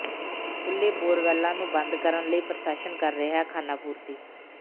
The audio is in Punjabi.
ਖੁੱਲ੍ਹੇ ਬੋਰਵੈੱਲਾਂ ਨੂੰ ਬੰਦ ਕਰਨ ਲਈ ਪ੍ਰਸ਼ਾਸਨ ਕਰ ਰਿਹੈ ਖਾਨਾਪੂਰਤੀ